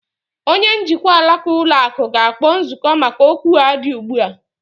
Onye njikwa alaka ụlọ akụ ga-akpọ nzukọ maka okwu a dị ugbu a.